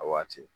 A waati